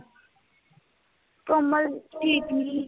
ਕਮਲ ਠੀਕ ਨੀ